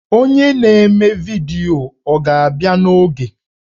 Onye na-eme vidiyo ọ ga-abịa n'oge?